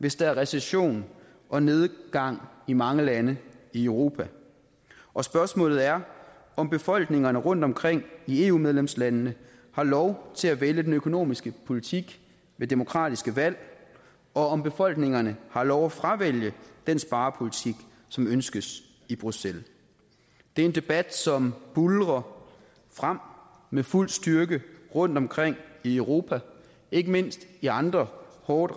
hvis der er recession og nedgang i mange lande i europa og spørgsmålet er om befolkningerne rundtomkring i eu medlemslandene har lov til at vælge den økonomiske politik ved demokratiske valg og om befolkningerne har lov at fravælge den sparepolitik som ønskes i bruxelles det er en debat som buldrer frem med fuld styrke rundtomkring i europa ikke mindst i andre hårdt